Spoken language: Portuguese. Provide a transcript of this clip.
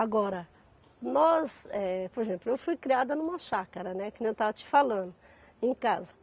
Agora, nós, eh, por exemplo, eu fui criada numa chácara, né que nem eu estava te falando, em casa.